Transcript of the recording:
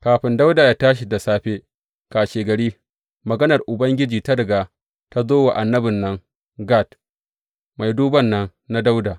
Kafin Dawuda yă tashi da safe kashegari, maganar Ubangiji ta riga ta zo wa annabin nan Gad, mai duban nan na Dawuda.